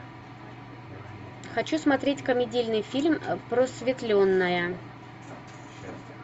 хочу смотреть комедийный фильм просветленная